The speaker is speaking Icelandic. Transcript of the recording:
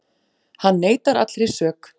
Hann neitar allri sök